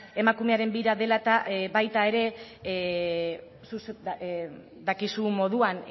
emakumearen bira dela eta baita ere zuk dakizun moduan